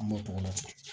An m'o tɔgɔ di